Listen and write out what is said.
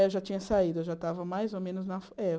Eu já tinha saído, eu já estava mais ou menos na Fo eh